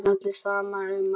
Allir sammála um það.